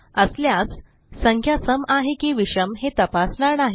असल्यास संख्या सम आहे की विषम हे तपासणार नाही